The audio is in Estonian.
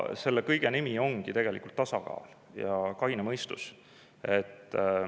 Selle kõige nimi ongi tegelikult tasakaal ja kaine mõistus.